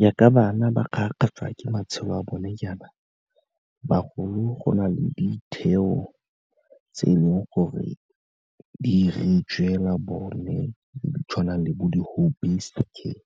Jaaka bana ba kgarakgatswa ke matshelo a bone jaana, bagolo go na le ditheo tse e leng gore di 'iretswe fela bone, di tshwana le bo di-home based care,